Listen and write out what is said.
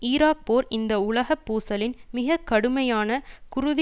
Iraq போர் இந்த உலக பூசலின் மிக கடுமையான குருதி